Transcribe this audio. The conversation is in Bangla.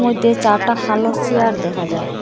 এটে চারটা কালো চিয়ার দেখা যার।